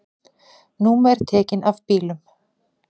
Númer tekin af bílum